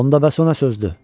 Onda bəs o nə sözdür?